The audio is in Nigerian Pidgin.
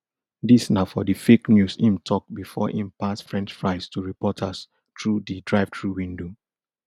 dis na for di fake news im tok bifor im pass french fries to reporters through di drivethrough window